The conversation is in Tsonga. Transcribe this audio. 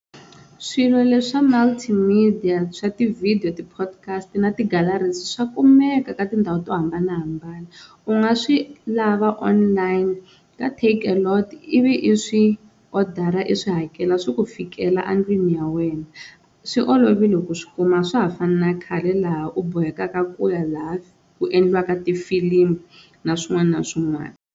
Swilo leswi swa multimedia swa ti-video, ti-podcast na ti-galleries swa kumeka ka tindhawu to hambanahambana u nga swi lava online ka Takealot ivi i swi swi odara i swi hakela swi ku fikela endlwini ya wena, swi olovile ku swi kuma a swa ha fani na khale laha u boheka ku ya laha ku endliwaka ti-film na swin'wana na swin'wana.